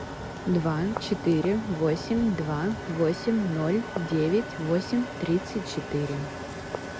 два четыре восемь два восемь ноль девять восемь тридцать четыре